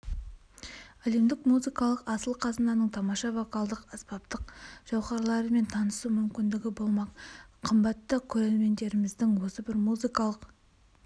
әлемдік музыкалық асыл қазынаның тамаша вокалдық-аспаптық жауһарларымен танысу мүмкіндігі болмақ қымбатты көрерменіміздің осы бір музыкалық